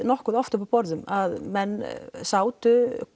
nokkuð oft upp á borðum að menn sátu